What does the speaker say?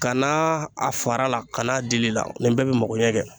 Ka na a fara la ka n'a dili la nin bɛɛ bɛ magoɲɛ kɛ